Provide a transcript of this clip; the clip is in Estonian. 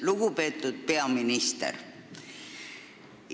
Lugupeetud peaminister!